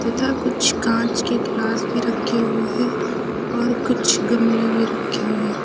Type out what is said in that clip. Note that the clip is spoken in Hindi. था कुछ कांच के ग्लास भी रखे हुए हैं और कुछ गमले भी रखे हुए हैं।